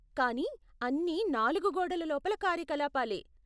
కానీ అన్ని నాలుగు గోడల లోపల కార్యకలాపాలే.